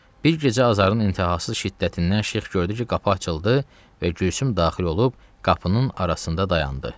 Bir gecə Azarın intihasız şiddətindən Şeyx gördü ki, qapı açıldı və Gülsüm daxil olub qapının arasında dayandı.